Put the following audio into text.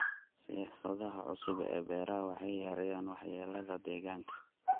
Siyaasadaha cusub ee beeraha waxay yareeyaan waxyeelada deegaanka.